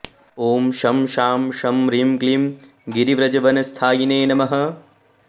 ॐ शं शां षं ह्रीं क्लीं गिरिव्रजवनस्थायिने नमः